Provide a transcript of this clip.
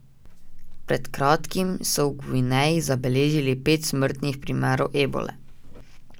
Pred kratkim so v Gvineji zabeležili pet smrtnih primerov ebole.